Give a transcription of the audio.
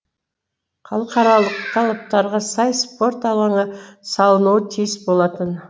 халықаралық талаптарға сай спорт алаңы салынуы тиіс болатын